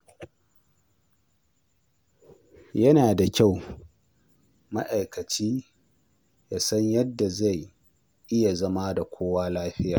Yana da kyau ma'aikaci ya san yadda zai iya zama da kowa lafiya.